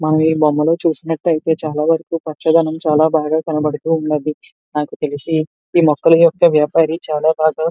మనము ఇ బొమ్మలో చూస్తునట్టు అయితే చాలా వారకు పచ్చదనం చాలా బాగా కనబడుతూ ఉన్నది నాకు తెలిసి ఈ మొక్కలి యొక్క వ్యాపరి చాలా బాగా --